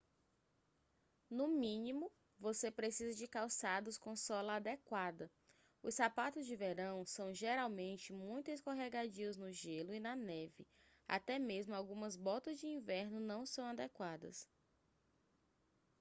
no mínimo você precisa de calçados com sola adequada os sapatos de verão são geralmente muito escorregadios no gelo e na neve até mesmo algumas botas de inverno não são adequadas